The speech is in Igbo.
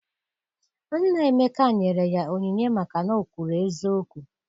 Nna Emeka nyere ya onyinye maka na o kwuru eziokwu.